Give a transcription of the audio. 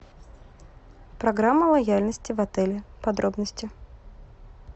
программа лояльности в отеле подробности